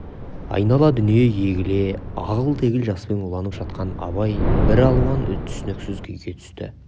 айнала дүние егіле ағыл-тегіл жаспен уланып жатқанда абай біралуан түсініксіз күйге түсті